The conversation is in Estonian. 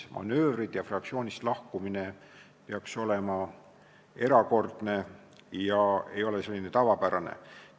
Manöövrid ja fraktsioonist lahkumine peaks olema erakordne, mitte tavapärane asi.